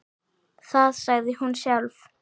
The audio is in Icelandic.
Það sagði hún sjálf.